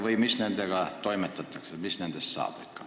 Kuidas nendega toimetatakse, mis nendest saab?